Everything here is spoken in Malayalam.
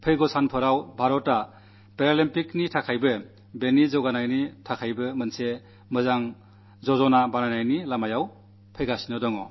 വരും നാളുകളിൽ ഭാരതം പാരാഒളിമ്പിക്സിനും വേണ്ടി അതിന്റെ വളർച്ചയ്കം വേണ്ടി ഒരു സുഗമപദ്ധതിയുണ്ടാക്കുന്നതിനു ശ്രമിക്കയാണ്